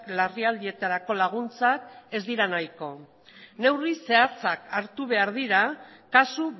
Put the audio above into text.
larrialdietarako laguntzak ez dira nahiko neurri zehatzak hartu behar dira kasu